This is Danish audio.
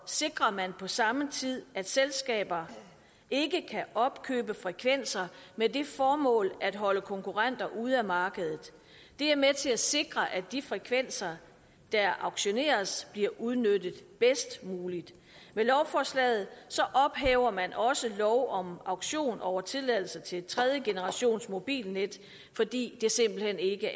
sikrer man på samme tid at selskaber ikke kan opkøbe frekvenser med det formål at holde konkurrenter ude af markedet det er med til at sikre at de frekvenser der auktioneres bliver udnyttet bedst muligt med lovforslaget ophæver man også lov om auktion over tilladelser til tredjegenerationsmobilnet fordi det simpelt hen ikke